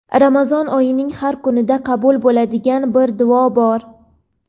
Ramazon oyining har kunida qabul bo‘ladigan bir duo bor.